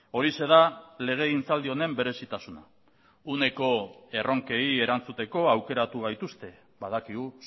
horixe da legegintzaldi honen berezitasuna uneko erronkei erantzuteko aukeratu gaituzte badakigu